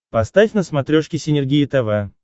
поставь на смотрешке синергия тв